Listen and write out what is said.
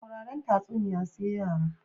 Sauraren tatsuniya sai yara